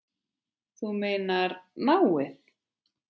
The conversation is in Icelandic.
Þú meinar náið?